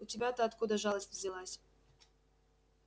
у тебя-то откуда жалость взялась